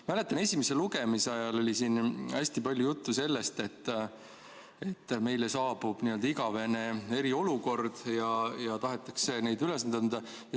Mäletan, esimese lugemise ajal oli siin hästi palju juttu sellest, et meile saabub igavene eriolukord ja tahetakse neid ülesandeid anda.